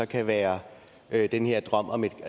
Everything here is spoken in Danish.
kan være være den her drøm om det